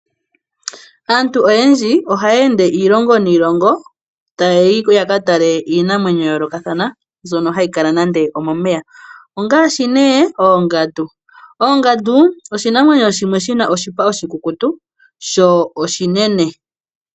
Aantu oyendji oha ya ende iilongo niilongo ta yayi ko ya ka tale iinamwenyo ya yoolokathana hayi kala nande omomeya ongaashi ne oongandu. Oongandu oshinamwenyo shimwe shina oshipa oshikukutu sho oshinene.